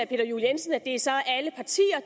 peter juel jensen at det så